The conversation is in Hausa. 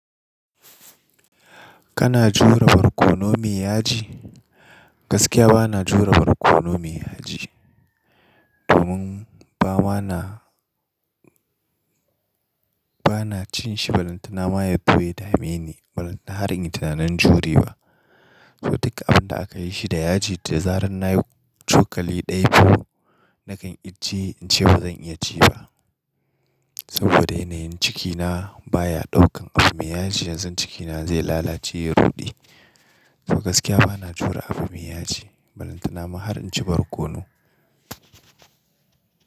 Kana jure barkono mai yaji? Gaskiya ba na jure barkono mai yaji. Domin bama na, ba na cin shi. Ba lantana ma yazo ya da meni, ba lantana har in ci tunanin jure wa. To duk abin da aka yi shi da yaji, da zarar na yi cokali ɗaya to nakan ijjiye in ce ba zan iya ci ba. Saboda yanayin cikina baya ɗaukan abu mai yaji. Yanzu cikina zai lalace ya ruɗe. To gaskiya ba na jure abu mai yaji. Ba lantana ma har in ci barkono.